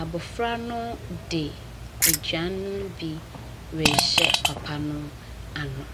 Abɔfra no de aduane no bi rehyɛ papa no ano.